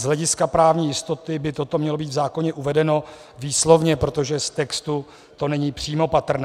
Z hlediska právní jistoty by toto mělo být v zákoně uvedeno výslovně, protože z textu to není přímo patrné.